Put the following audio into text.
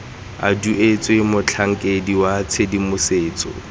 a duetswe motlhankedi wa tshedimosetso